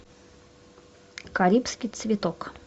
карибский цветок